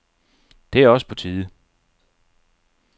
Det er også på tide.